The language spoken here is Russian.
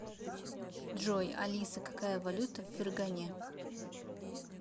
джой алиса какая валюта в фергане